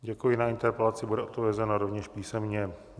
Děkuji, na interpelaci bude odpovězeno rovněž písemně.